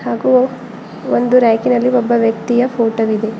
ಹಾಗೂ ಒಂದು ರಾಕಿ ನಲ್ಲಿ ಒಬ್ಬ ವ್ಯಕ್ತಿಯ ಫೋಟೋ ವಿದೆ.